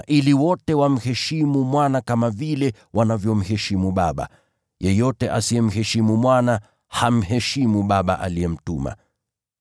ili wote wamheshimu Mwana kama vile wanavyomheshimu Baba. Yeyote asiyemheshimu Mwana, hamheshimu Baba aliyemtuma.